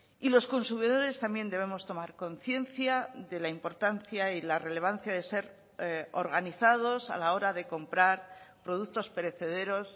y los consumidores también debemos tomar conciencia de la importancia y la relevancia de ser organizados a la hora de comprar productos perecederos